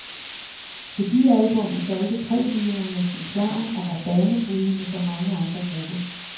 Debutalbummet solgte tre millioner eksemplarer og var banebrydende for mange andre grupper.